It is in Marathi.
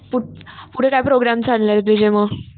पुढे काय प्रोग्रॅम चालणार तुझे मग?